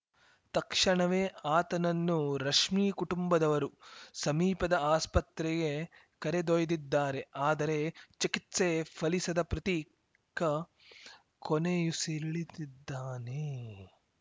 ತಕ್ಷಣವೇ ಆತನನ್ನು ರಶ್ಮಿ ಕುಟುಂಬದವರು ಸಮೀಪದ ಆಸ್ಪತ್ರೆಗೆ ಕರೆದೊಯ್ದಿದ್ದಾರೆ ಆದರೆ ಚಿಕಿತ್ಸೆ ಫಲಿಸದ ಪ್ರತೀಕ್‌ ಕೊನೆಯುಸಿರೆಳೆದಿದ್ದಾನೆ